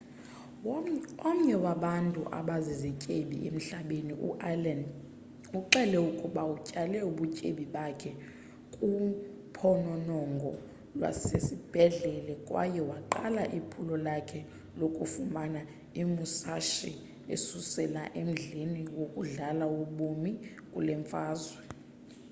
omnye wabantu abazizityebi emhlabeni u-allen uxele ukuba utyale ubutyebi bakhe kuphononongo lwaselwandle kwaye waqala iphulo lakhe lokufumana imusashi esusela emdleni wakudala wobomi kule mfazwe